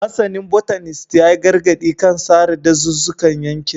Masanin Botanist ya yi gargadi kan sare dazuzzukan yankin